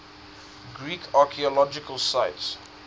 greek archaeological sites